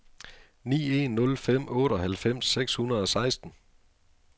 ni en nul fem otteoghalvfems seks hundrede og seksten